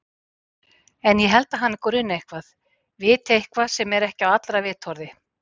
En ég held að hana gruni eitthvað, viti eitthvað sem ekki er á allra vitorði.